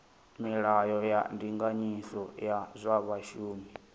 milayo ya ndinganyiso ya zwa vhashumi